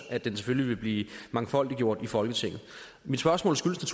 at den selvfølgelig vil blive mangfoldiggjort i folketinget mit spørgsmål skyldes